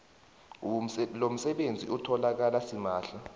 lomsebenzi utholakala simahla